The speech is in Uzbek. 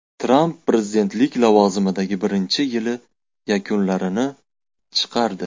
Tramp prezidentlik lavozimidagi birinchi yili yakunlarini chiqardi.